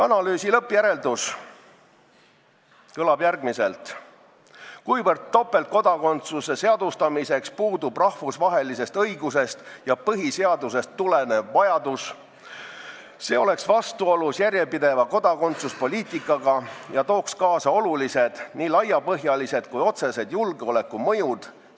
Analüüsi lõppjäreldus kõlab järgmiselt: topeltkodakondsuse seadustamiseks puudub rahvusvahelisest õigusest ja põhiseadusest tulenev vajadus ning see oleks vastuolus järjepideva kodakondsuspoliitikaga ja tooks kaasa olulised laiapõhjalised ja otsesed julgeolekumõjud.